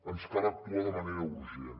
ens cal actuar de manera urgent